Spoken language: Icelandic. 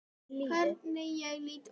Hvernig ég lít út!